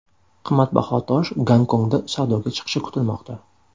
Qimmatbaho tosh Gonkongda savdoga chiqishi kutilmoqda.